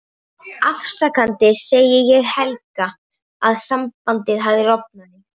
Afsakandi segi ég Helga að sambandið hafi rofnað.